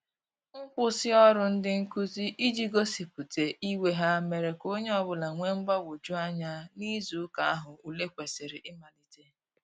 Nkwụsị ọrụ ndị nkụzi ije gosipụta iwe ha mere ka onye ọbụla wee mgbanweju anya n'izụ ụka ahu ụle kwesiri imalite